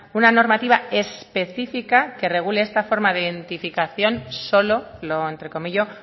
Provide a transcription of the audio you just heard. una normativa específica que regule esta forma de identificación solo lo entrecomillo